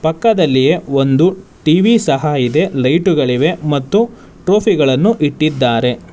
ಪಕ್ಕದಲ್ಲಿ ಒಂದು ಟಿ_ವಿ ಸಹ ಇದೆ ಲೈಟುಗಳಿವೆ ಮತ್ತು ಟ್ರೋಫಿಗಳನ್ನು ಇಟ್ಟಿದ್ದಾರೆ.